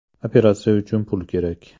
Operatsiya uchun pul kerak.